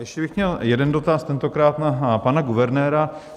Ještě bych měl jeden dotaz, tentokrát na pana guvernéra.